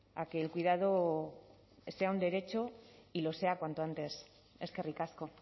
a que el cuidado sea un derecho y lo sea cuanto antes eskerrik asko